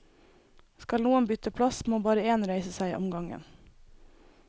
Skal noen bytte plass, må bare én reise seg om gangen.